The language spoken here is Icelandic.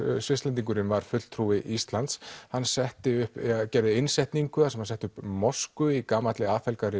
Svisslendingurinn var fulltrúi Íslands hann setti upp gerði innsetningu þar sem hann setti upp mosku í gamalli